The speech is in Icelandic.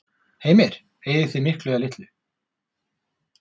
Heimir: Eyðið þið miklu eða litlu?